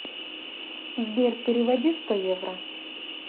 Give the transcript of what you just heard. сбер переводи сто евро